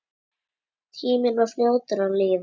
Tíminn var fljótur að líða.